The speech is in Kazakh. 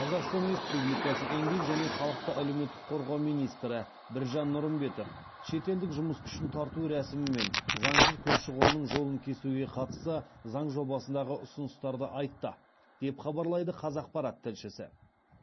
қазақстан республикасы еңбек және халықты әлеуметтік қорғау министрі біржан нұрымбетов шетелдік жұмыс күшін тарту рәсімі мен заңсыз көші қонның жолын кесуге қатысты заң жобасындағы ұсыныстарды айтты деп хабарлайды қазақпарат тілшісі